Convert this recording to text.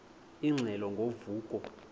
ingxelo ngo vuko